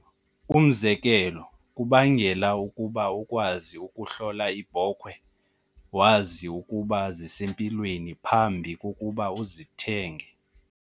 Umzekelo, kubangela ukuba ukwazi- Ukuhlola iibhokhwe wazi ukuba zisempilweni phambi kokuba uzithenge.